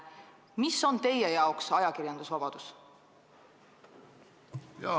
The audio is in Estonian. Mis on teie arvates ajakirjandusvabadus?